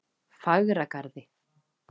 Fagragarði